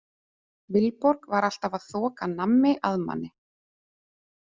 Vilborg var alltaf að þoka nammi að manni.